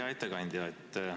Hea ettekandja!